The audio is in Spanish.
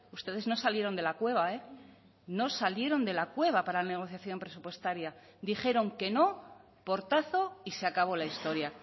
ustedes no salieron de la cueva no salieron de la cueva para la negociación presupuestaria dijeron que no portazo y se acabó la historia